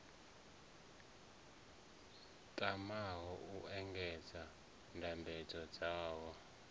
tamaho u engedza ndambedzo dzavho